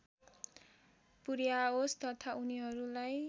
पुर्‍याओस् तथा उनीहरूलाई